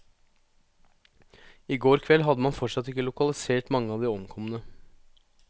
I går kveld hadde man fortsatt ikke lokalisert mange av de omkomne.